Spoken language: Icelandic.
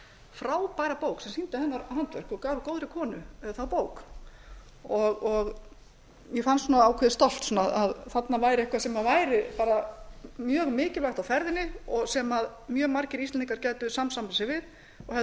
frábæra bók sem sýndi hennar handverk og gaf góðri konu þá bók ég fann svona ákveðið stolt að þarna væri eitthvað sem væri bara mjög mikilvægt á ferðinni sem mjög margir íslendingar gætu samsamað sig við og hefðu